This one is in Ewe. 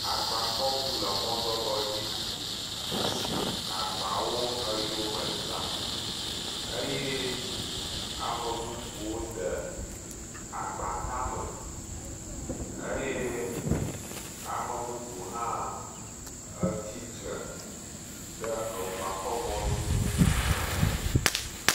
Agakɔŋu le mɔ ɖɔɖɔ dzi si me agbakɔ eyɔme zã eye ame bɔbɔwo de agba tame eye ame bubu hã tsitre ɖeagba ɔe mɔdodo aɖe dzi.